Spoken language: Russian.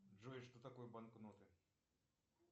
джой что такое банкноты